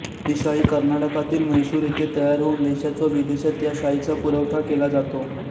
ही शाई कर्नाटकातील म्हैसूर येथे तयार होऊन देशात व विदेशात या शाईचा पुरवठा केला जातो